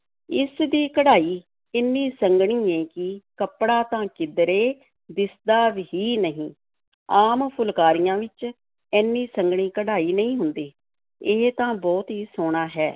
ਇਸ ਦੀ ਕਢਾਈ ਏਨੀ ਸੰਘਣੀ ਏ ਕਿ ਕੱਪੜਾ ਤਾਂ ਕਿਧਰੇ ਦਿਸਦਾ ਹੀ ਨਹੀਂ, ਆਮ ਫੁਲਕਾਰੀਆਂ ਵਿੱਚ ਏਨੀ ਸੰਘਣੀ ਕਢਾਈ ਨਹੀਂ ਹੁੰਦੀ, ਇਹ ਤਾਂ ਬਹੁਤ ਹੀ ਸੋਹਣਾ ਹੈ,